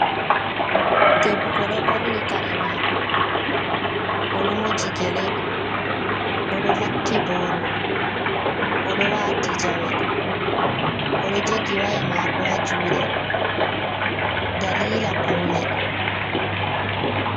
Debbo do ɓorni kare mako, oɗo moji gele, oɗo vakki boro oɗo wati jawe, oɗo jogi waya mako ha juɗe dalila paune.